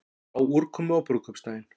Spá úrkomu á brúðkaupsdaginn